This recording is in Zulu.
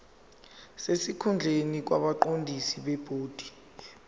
sesikhundleni kwabaqondisi bebhodi